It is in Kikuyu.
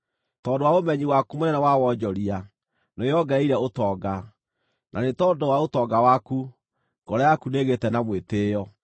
Tondũ wa ũmenyi waku mũnene wa wonjoria, nĩwĩongereire ũtonga, na nĩ tondũ wa ũtonga waku, ngoro yaku nĩĩgĩĩte na mwĩtĩĩo.